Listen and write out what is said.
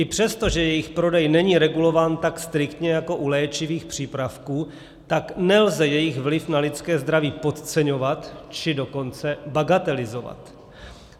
I přesto, že jejich prodej není regulován tak striktně jako u léčivých přípravků, tak nelze jejich vliv na lidské zdraví podceňovat, či dokonce bagatelizovat.